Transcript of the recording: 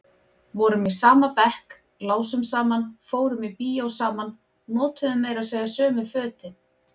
Vorum í sama bekk, lásum saman, fórum í bíó saman, notuðum meira segja sömu fötin.